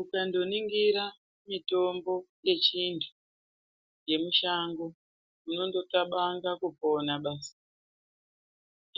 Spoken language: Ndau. Ukangoningira mitombo yechiantu yemushango unongoxabanga kupona basi.